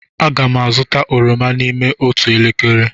Aga m azụta oroma n'ime otu elekere.